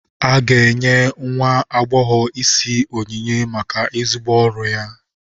A ga-enye nwa agbọghọ isi onyinye maka ezigbo ọrụ ya.